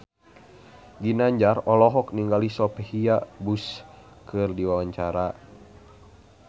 Ginanjar olohok ningali Sophia Bush keur diwawancara